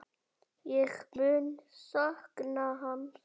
Ég mun sakna hans.